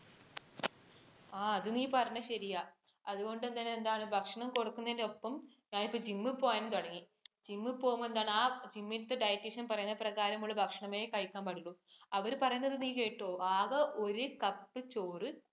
ആ അത് നീ പറഞ്ഞത് ശരിയാ. അതുകൊണ്ട് തന്നെ എന്താണ് ഭക്ഷണം കുറയ്ക്കുന്നതിന്‍റെ ഒപ്പം ഞാൻ ഇപ്പോൾ gym ഈ പോകാനും തുടങ്ങി. gym ൽ പോവുമ്പോൾ എന്താണ് ആ gym ഇലത്തെ dietician പറയുന്ന പ്രകാരമുള്ള ഭക്ഷണമേ കഴിക്കാൻ പാടുള്ളു. അവര് പറയുന്നത് നീ കേട്ടോ ആകെ ഒരു cup ചോറ്